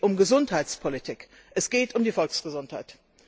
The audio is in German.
Es geht um Gesundheitspolitik, es geht um die Volksgesundheit.